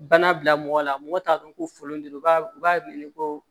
Bana bila mɔgɔ la mɔgɔ t'a dɔn ko folon de don u b'a u b'a wele ko